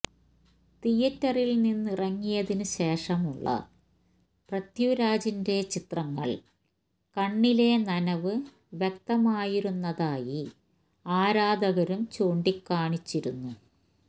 തിയേറ്ററില് നിന്നിറങ്ങിയതിന് ശേഷമുള്ള പൃഥ്വിരാജിന്റെ ചിത്രങ്ങളില് കണ്ണിലെ നനവ് വ്യക്തമായിരുന്നതായി ആരാധകരും ചൂണ്ടിക്കാണിച്ചിരുന്നു